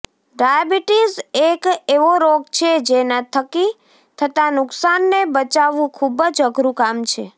diabetes એક એવો રોગ છે જેના થકી થતા નુકસાનને બચાવવું ખૂબ જ અઘરું કામ છે